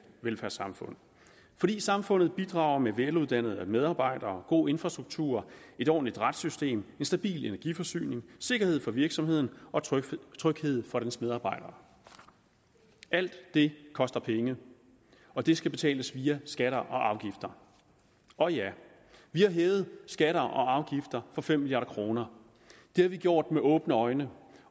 velfærdssamfund fordi samfundet bidrager med veluddannede medarbejdere god infrastruktur et ordentligt retssystem en stabil energiforsyning sikkerhed for virksomheden og tryghed tryghed for dens medarbejdere alt det koster penge og det skal betales via skatter og afgifter og ja vi har hævet skatter og afgifter for fem milliard kroner det har vi gjort med åbne øjne